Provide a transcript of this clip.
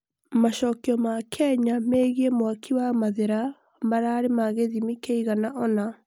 macokio ma Kenya megiĩ mwakĩ wa mathira mararĩ ma gĩthimi kĩigana ona